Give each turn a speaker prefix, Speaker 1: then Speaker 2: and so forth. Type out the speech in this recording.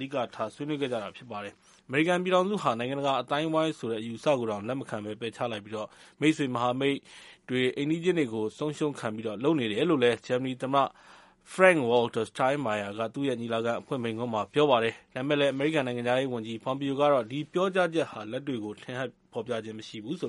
Speaker 1: ဓိကထား ဆွေးနွေးခဲ့ကြတာ ဖြစ်ပါတယ်။ ဂျာမနီသမ္မတ Frank Walter Sterinmeier ကတော့ အမေရိကန်ပြည်ထောင်စုဟာ နိုင်ငံတကာ အသိုင်းအဝိုင်းဆိုတဲ့ အယူအဆကိုတောင် လက်မခံဘဲ ပယ်ချလိုက်ပြီး အိမ်နီးချင်း မိတ်ဆွေနိုင်ငံတွေ၊ မဟာမိတ်တွေကို ဆုံးရှုံးခံပြီး လုပ်နေတယ်လို့ သူ့ရဲ့ ညီလာခံ အဖွင့်မိန့်ခွန်းမှာ ပြောကြားလိုက်ပါတယ်။ ဒါပေမယ့် အမေရိကန် နိုင်ငံခြားရေးဝန်ကြီး Pompeo ကတော့ ဒီပြောကြားချက်ဟာ လက်တွေ့ကို ထင်ဟပ်ဖော်ပြခြင်း မရှိဘူးလို့